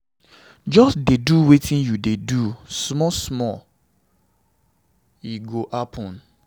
Just dey do wetin you dey do, small small e go happen.